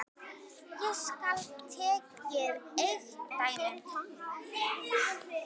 Hér skal tekið eitt dæmi.